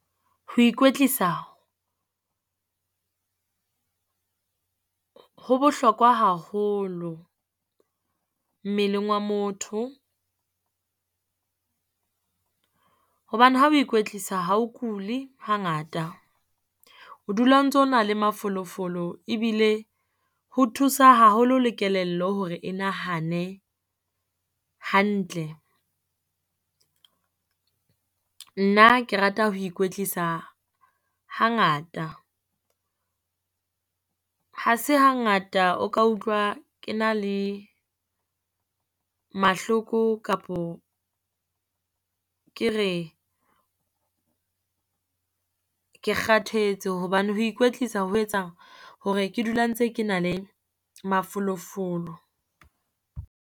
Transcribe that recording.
Ho ikwetlisa ho bohlokwa haholo mmeleng wa motho, hobane ha o ikwetlisa ha o kuli hangata o dula o ntso na le mafolofolo ebile ho thusa haholo le kelello hore e nahane hantle. Nna ke rata ho ikwetlisa hangata. Ha se hangata o ka utlwa ke na le mahloko kapo ke re ke kgathetse hobane ho ikwetlisa ho etsa hore ke dula ntse ke na le mafolofolo.